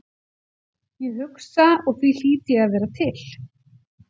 Ég hugsa og því hlýt ég að vera til.